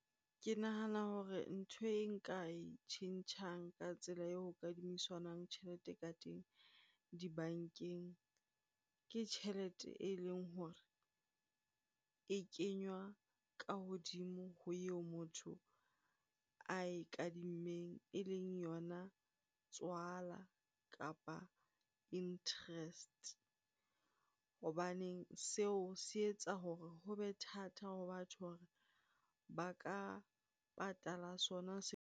Ke nahana hore ntho e nka e tjhentjhang ka tsela eo ho kadimisanwang tjhelete ka teng dibankeng. Ke tjhelete eleng hore e kenywa ka hodimo ho eo motho a ikadimmeng eleng yona tswala kapa interest. Hobaneng seo se etsa hore ho be thata ho batho hore ba ka patala sona .